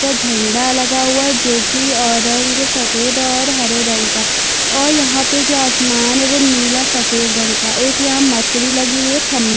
झंडा लगा हुआ है जो की ओरेंज सफ़ेद और हरे रंग का और यहाँ पर जो आसमान है नील सफ़ेद रंग का। एक यहाँ मरकरी लगी हुई है। खंबा--